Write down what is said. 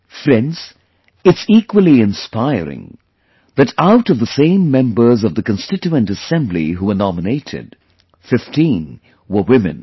Friends, it's again inspiring that out of the same members of the Constituent Assembly who were nominated, 15 were Women